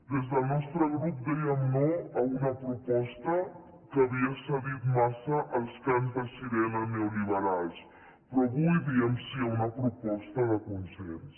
des del nostre grup dèiem no a una proposta que havia cedit massa als cants de sirena neoliberals però avui diem sí a una proposta de consens